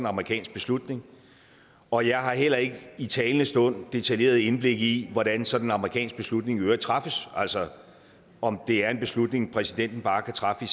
amerikansk beslutning og jeg har heller ikke i talende stund detaljeret indblik i hvordan sådan en amerikansk beslutning i øvrigt træffes altså om det er en beslutning præsidenten bare kan træffe